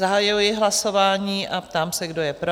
Zahajuji hlasování a ptám se, kdo je pro?